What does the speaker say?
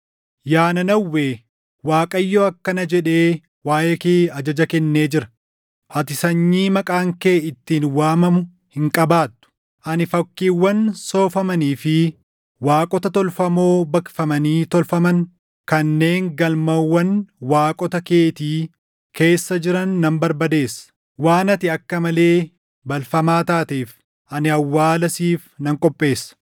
Yaa Nanawwee, Waaqayyo akkana jedhee waaʼee kee ajaja kennee jira: “Ati sanyii maqaan kee ittiin waamamu hin qabaattu. Ani fakkiiwwan soofamanii fi waaqota tolfamoo baqfamanii tolfaman kanneen galmawwan waaqota keetii keessa jiran nan barbadeessa. Waan ati akka malee balfamaa taateef ani awwaala siif nan qopheessa.”